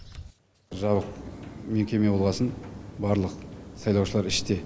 жабық мекеме болғасын барлық сайлаушылар іште